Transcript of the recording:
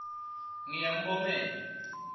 ngiyambongela